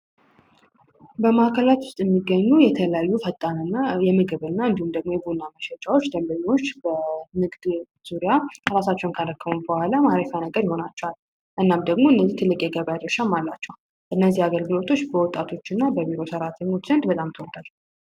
በማዕከላች ውስጥ የሚገኙ የተለዩ ፈጣንና የምግብ እና እንዲሁም ደግሞ የቡና መሸጫዎች ደንበኙዎች በንግድ ዙሪያ አራሳቸውን ካረከሙ በኋላ ማረፊያ ነገር ይሆናቸዋል እናም ደግሞ እነዚህ ትልቅ የገባያጀርሻ ማላቸው እነዚህ አገርግሎቶች በወጣቶች እና በቪሮ ሠርዓተኞች እንድ በጣምቶወርደር፡፡